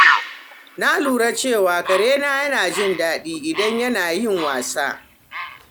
Na lura cewa karena yana jin daɗi idan yana yin wasa.